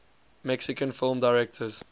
mexican film directors